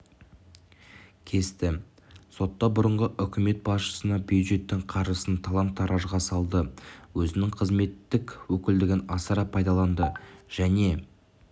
кесті сотта бұрынғы үкімет басшысына бюджеттің қаржысын талан-таражға салды өзінің қызметтік өкілдігін асыра пайдаланды және